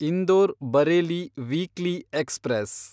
Indore Bareilly weekly express